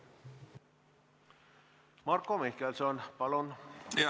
Marko Mihkelson, palun!